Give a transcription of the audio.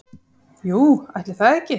Jú, ætli það ekki